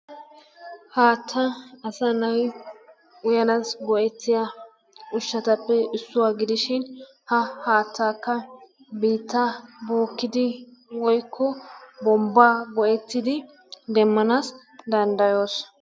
Haattaa asa nay uyyanassi go''ettiya ushsatappe issuwa gidishin ha haattakka biittaa bookkidi woykko bombba go''ettidi demmanas danddayoos.